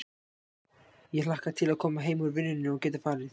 Ég hlakkaði til að koma heim úr vinnunni og geta farið í